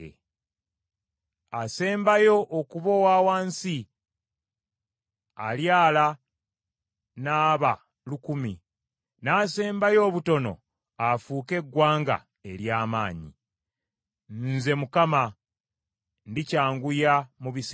Asembayo okuba owa wansi alyala n’aba lukumi, n’asembayo obutono afuuke eggwanga ery’amaanyi. Nze Mukama , ndikyanguya mu biseera byakyo.”